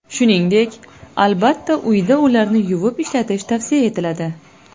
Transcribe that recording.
Shuningdek, albatta, uyda ularni yuvib ishlatish tavsiya etiladi.